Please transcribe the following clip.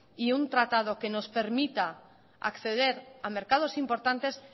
y un tratado que nos permita acceder a mercados importantes